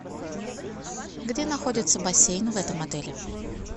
где находится бассейн в этом отеле